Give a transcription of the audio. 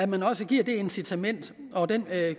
man også giver det incitament og den